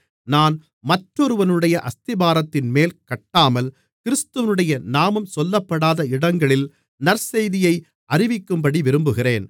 நான் மற்றொருவனுடைய அஸ்திபாரத்தின்மேல் கட்டாமல் கிறிஸ்துவினுடைய நாமம் சொல்லப்படாத இடங்களில் நற்செய்தியை அறிவிக்கும்படி விரும்புகிறேன்